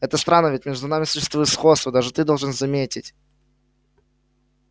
это странно ведь между нами существует сходство даже ты должен заметить